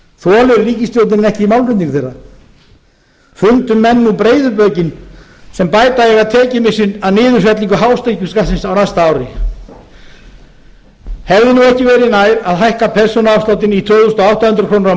þolir ríkisstjórnin ekki málflutning þeirra fundu menn nú breiðu bökin sem bæta eiga tekjumissinn af niðurfellingu hátekjuskattsins á næsta ári hefði nú ekki verið nær að hækka persónuafsláttinn í tvö þúsund átta hundruð krónur á